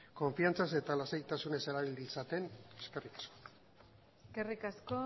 konfidantzaz eta lasaitasunez erabil ditzaten eskerrik asko eskerrik asko